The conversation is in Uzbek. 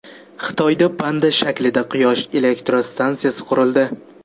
Xitoyda panda shaklida quyosh elektrostansiyasi qurildi.